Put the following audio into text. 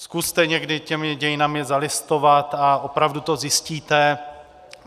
Zkuste někdy těmi dějinami zalistovat a opravdu to zjistíte.